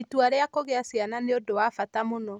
Itua rĩa kũgĩa ciana nĩ ũndũ wa bata mũno.